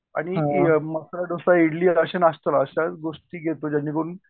आणि मसाला ढोसा, इडली अशा नाश्ट्याला अशा गोष्टी घेतो ज्यांनी करून